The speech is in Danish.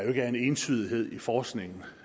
er en entydighed i forskningen